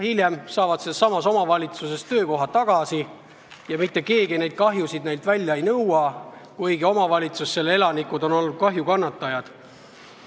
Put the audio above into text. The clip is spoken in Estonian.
Hiljem saavad nad sellessamas omavalitsuses töökoha tagasi ja mitte keegi neilt tekitatud kahju välja ei nõua, kuigi omavalitsus, selle elanikud on kahju kannatanud.